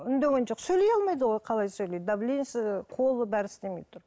үндеген жоқ сөйлей алмайды ғой қалай сөйлейді давлениесі қолы бәрі істемей тұр